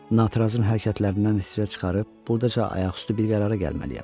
Natrazın hərəkətlərindən icra çıxarıb burdaca ayaq üstü bir qərara gəlməliyəm.